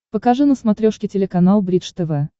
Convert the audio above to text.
покажи на смотрешке телеканал бридж тв